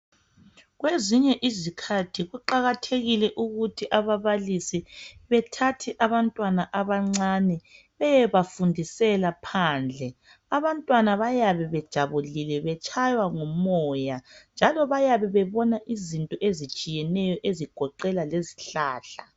Kwezinye izikhathi kuqakathekile ukuthi ababalisi bethathe abantwana abancane beyebafundisela phandle. Abantwana bayabe bejabulile betshaywa ngumoya njalo bayabe bebona izinto ezitshiyeneyo ezigoqela lezihlahla.